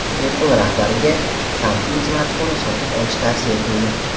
Apple rahbariga Samsung smartfonini sotib olish tavsiya etildi.